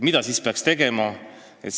Mida siis peaks tegema?